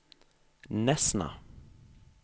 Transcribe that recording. Nesna